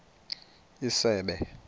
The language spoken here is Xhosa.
isebe